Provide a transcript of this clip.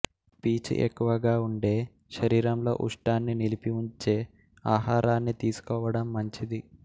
పీచు ఎక్కువగా ఉండే శరీరంలో ఉష్ణాన్ని నిలిపి ఉంచే ఆహారాన్ని తీసుకోవడం మంచిది